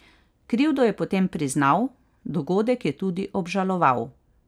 Krivdo je potem priznal, dogodek je tudi obžaloval.